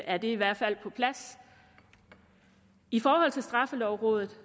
er det i hvert fald på plads i forhold til straffelovrådet